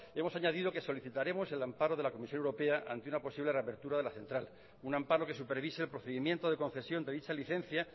hemos añadido que solicitaremos el amparo de la comisión europea ante una posible reapertura de la central un amparo que supervise el procedimiento de concesión de dicha licencia